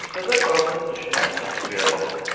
Üşüdə qazı düşünərkən göyə baxdım.